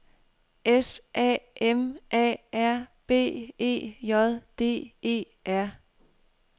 S A M A R B E J D E R